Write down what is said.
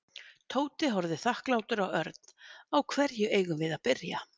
Tóti horfði þakklátur á Örn. Á hverju eigum við að byrja?